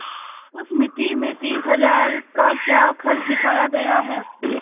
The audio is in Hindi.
उस मिती में तीस हजार का क्या खर्च दिखाया गया है